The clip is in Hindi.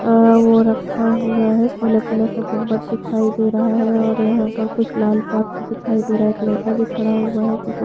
अ वो रखा हुआ है पिला-पिला सा गुम्बद दिखाई दे रहा है और यहाँ पर कुछ लाल सॉक्स दिखाई दे रहा है एक लड़का भी खड़ा हुआ है जो की--